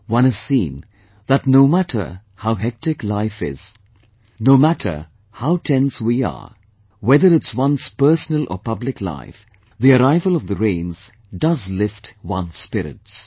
One has seen that no matter how hectic the life is, no matter how tense we are, whether its one's personal or public life, the arrival of the rains does lift one's spirits